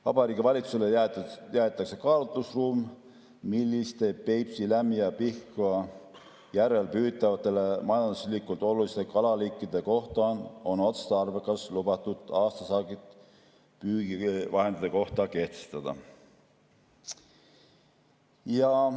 Vabariigi Valitsusele jäetakse kaalutlusruum, milliste Peipsi, Lämmi‑ ja Pihkva järvel püütavate majanduslikult oluliste kalaliikide kohta on otstarbekas lubatud aastasaagid püügivahendite kohta kehtestada.